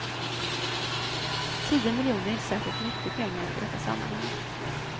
Tio miljoner är inte särskilt mycket pengar i detta sammanhang.